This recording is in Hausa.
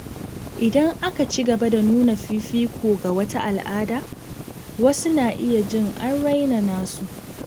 Idan aka ci gaba da nuna fifiko ga wata al’ada, wasu na iya jin an raina nasu.